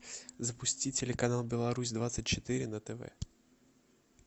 запусти телеканал беларусь двадцать четыре на тв